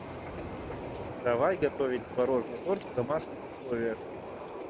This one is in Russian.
давай готовить творожный торт в домашних условиях